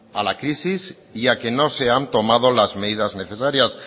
la crisis y a que no se han tomado las medidas necesarias